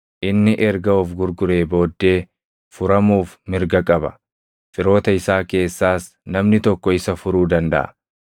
inni erga of gurguree booddee furamuuf mirga qaba. Firoota isaa keessaas namni tokko isa furuu dandaʼa.